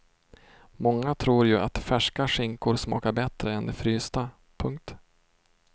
Många tror ju att färska skinkor smakar bättre än de frysta. punkt